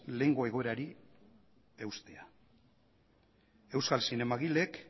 lehengo egoerari eustea euskal zinemagileek